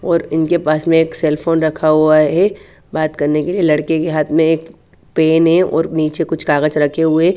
और इनके पास मे एक सेल फोन रखा हुआ है बात करने के लिए लड़के के हाथ मे एक पेन है और नीचे कुछ कागच रखे हुए--